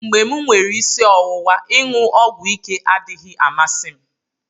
mgbe m nwere isi ọwụwa, iṅụ ọgwụ ike adịghị amasị m